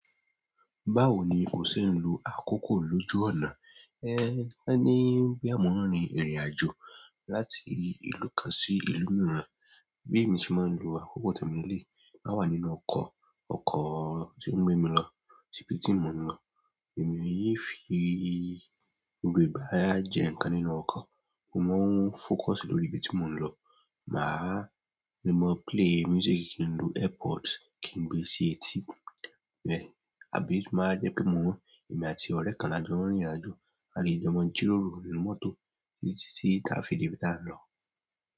Báwo ni o ṣe ń lo àkókò lójú ọ̀nà? Ẹ́, a ní ń gbé àwòrán ni ìrìn-àjò láti ìlú kan sí ìlú mìíràn. Bi emi se máa ń lo àkókò temi lele yi, tin ba wa nínú ọkọ̀ ti o ń gbé mi lọ si ibi ti mo n lọ. Èmi yí fi gbogbo ìgbà ara jẹ nǹkan nínú ọkọ̀. Mo máa ń fókọsì lórí ibi tí mo ń lọ. Màá le mọ play music, kí n lo airpods, kí n gbé sí etí. Bẹ́ẹ̀ àbí to ba máa jẹ́ pé mò ń, èmi àti ọ̀rẹ́ kan la jọ ń rìnrìn-àjò, a lè jẹ́ ma jíròrò nínú mọ́tò títí tí a fi dé ibi tí à ń lọ.